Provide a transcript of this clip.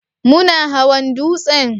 Muna hawan dutsen?